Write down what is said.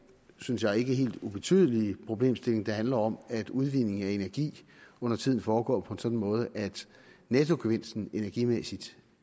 synes jeg ikke helt ubetydelige problemstilling der handler om at udvinding af energi undertiden foregår på en sådan måde at nettogevinsten energimæssigt